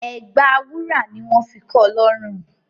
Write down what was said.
Ẹ̀gbà wúrà ni wọn fi kọọ lọrùn